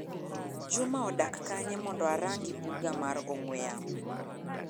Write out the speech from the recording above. Juma odak kanye mondo orangi buga mar ong'ue yamo.